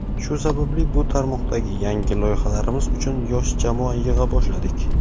Shu sababli bu tarmoqdagi yangi loyihalarimiz uchun yosh jamoa yig‘a boshladik.